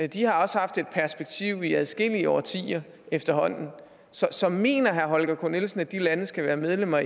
de har også haft et perspektiv i adskillige årtier efterhånden så så mener herre holger k nielsen at de lande skal være medlem af